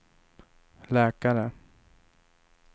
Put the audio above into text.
läkare